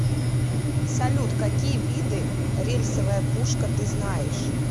салют какие виды рельсовая пушка ты знаешь